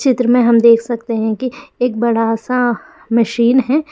चित्र में हम देख सकते हैं कि एक बड़ा -सा मशीन है।